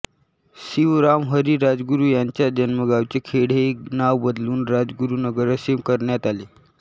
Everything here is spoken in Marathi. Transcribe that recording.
शिवराम हरी राजगुरू यांच्या जन्मगावाचे खेड हे नाव बदलून राजगुरुनगर असे करण्यात आले